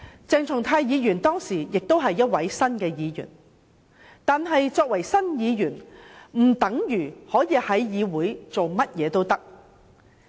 鄭松泰議員當時亦是新任議員，但這不等於可以在議會上為所欲為。